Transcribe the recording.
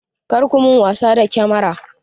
Kar ku min wasa da kyamara!